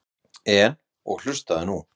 En. og hlustaðu nú